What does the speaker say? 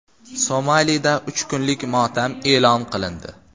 Somalida uch kunlik motam e’lon qilindi.